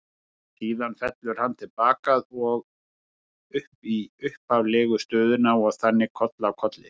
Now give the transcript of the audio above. Síðan fellur hann til baka og út í upphaflegu stöðuna og þannig koll af kolli.